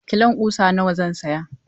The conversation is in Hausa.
Kilon ƙusa nawa zan saya?